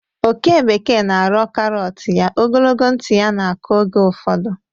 oke bekee na-arọ karọt ya, ogologo ntị ya na-akụ oge ụfọdụ.